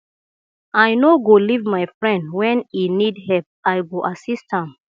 i no go leave my friend when e need help i go assist am